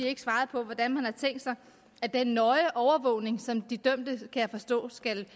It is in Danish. ikke svaret på hvordan man har tænkt sig at den nøje overvågning som de dømte kan jeg forstå skal